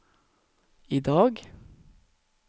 idag